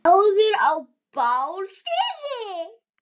áður á bál stigi